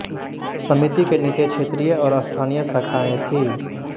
समिति के नीचे क्षेत्रीय और स्थानीय शाखाएं थीं